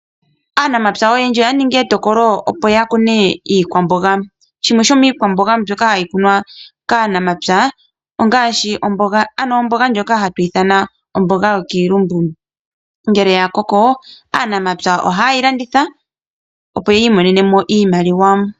Aanamapya oyendji oya ningi etokolo opo yakune iikwamboga, shimwe shomiikwamboga mbyoka hayi kunwa kaanamapya ongaashi omboga, ano omboga ndjono hatuyi ithana omboga yokiilumbu. Ngele yakoko, aanamapya ohaye yi landitha opo yiimonene mo iimaliwa.